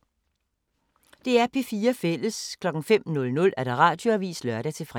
DR P4 Fælles